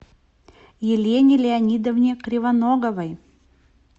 елене леонидовне кривоноговой